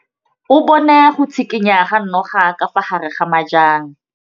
O bone go tshikinya ga noga ka fa gare ga majang.